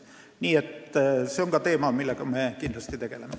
Nii et see on ka teema, millega me kindlasti tegeleme.